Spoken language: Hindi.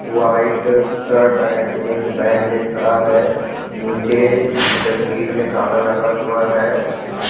व्हाइट शर्ट एंड जींस पहन के खड़ा है नीचे जंजीर में ताला लगा हुआ हैं।